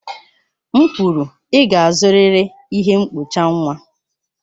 M kwuru, ị ga-azụrịrị ihe mkpocha nwa!